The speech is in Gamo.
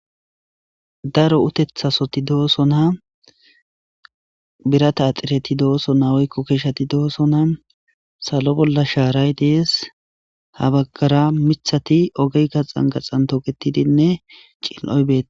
Daro utethasoti dooso naa birata axireti dooso na oykko keeshati dooso na salo bolla shaaray dees ha baggara mithati ogey gaxan gaxan togetidinne cin'oy be